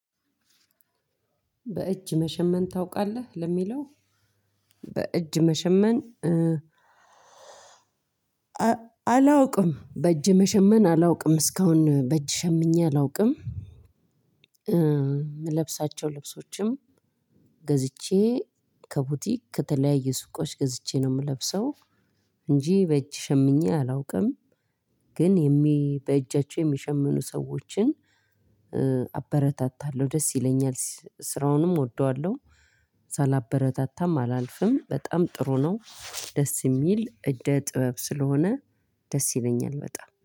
በእጅ መሸመን ታውቃለህ ለሚለው? በእጅ መሸመን። አላውቅም በእጅ መሸመን አላውቅም እስካሁን በእጅ ሸምኜ አላውቅም። ምለብሳቸው ልብሶችም ገዝቼ ከቡቲክ ከተለያየ ሱቆች ገዝቼ ነው የምለብሰው። እንጂ በእጅ ሸምኜ አላውቅም። ግን በእጃቸው የሚሸምኑ ሰዎችን አበረታታለሁ ደስ ይለኛል ስራውንም እወደዋለሁ። ሳላበረታታም አላልፍም በጣም ጥሩ ነው። ደስ የሚል እደ ጥበብ ስለሆነ ደስ ይለኛል በጣም